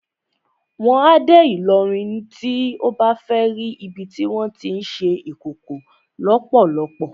Wà á dé Ìlọrin tí o bá fẹ́ ri ibi tí wọ́n tí ń ṣe Ìkòkò lọ́pọ́lọ́pọ́.